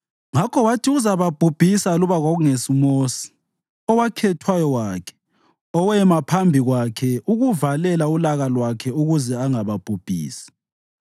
Ngakho wathi uzababhubhisa aluba kungesuMosi, owakhethwayo wakhe, owema phambi kwakhe ukuvalela ulaka lwakhe ukuze angababhubhisi.